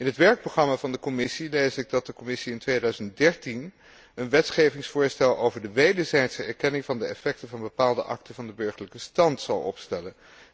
In het werkprogramma van de Commissie lees ik dat de Commissie in 2013 een wetgevingsvoorstel over de wederzijdse erkenning van de effecten van bepaalde akten van de burgerlijke stand gaat opstellen.